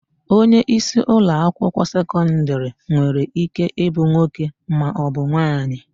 Onyeisi ụlọakwụkwọ sekọndịrị nwere íké ịbụ nwoke maọbụ nwaanyị.